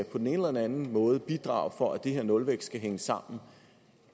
på den ene eller den anden måde skal bidrage for at den her nulvækst skal hænge sammen